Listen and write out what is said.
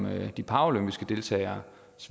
at de paralympiske deltageres